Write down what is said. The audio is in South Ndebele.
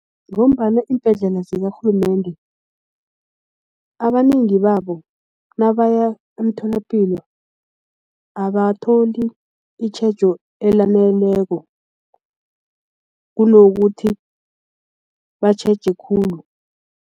Ngombana iimbhedlela zikarhulumende abanengi babo nabaya emtholapilo abatholi itjhejo elaneleko kunokuthi batjheje khulu.